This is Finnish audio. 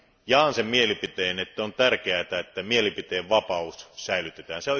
Jaan sen mielipiteen, että on tärkeätä, että mielipiteenvapaus säilytetään.